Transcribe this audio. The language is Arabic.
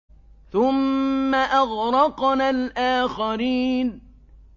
ثُمَّ أَغْرَقْنَا الْآخَرِينَ